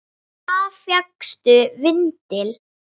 Hvar fékkstu vindil?